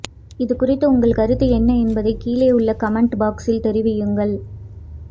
இதுகுறித்து உங்கள் கருத்து என்ன என்பதை கீழே உள்ள கமெண்ட் பாக்ஸில் தெரிவியுங்கள்